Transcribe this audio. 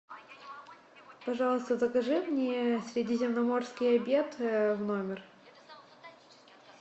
пожалуйста закажи мне средиземноморский обед в номер